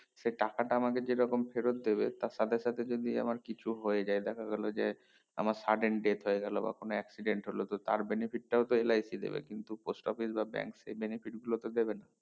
সে টাকাটা আমাকে যে রকম ফেরত দেবে তা সাথে সাথে যদি আমার কিছু হয়েযায় দেখা গেলো যে আমার sudden date হয়ে গেলো বা কোনো accident হলো তো তার benefit টা হচ্ছে LIC দেবে কিন্তু post office বা bank সেই benefit গুলো কে দেবেনা